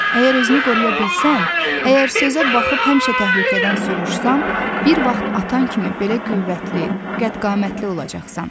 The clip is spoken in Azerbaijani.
Əgər özünü qoruya bilsən, əgər sözə baxıb həmişə təhlükədən sovuşsan, bir vaxt atan kimi belə qüvvətli, qədqamətli olacaqsan.